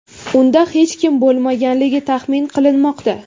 Unda hech kim bo‘lmaganligi taxmin qilinmoqda.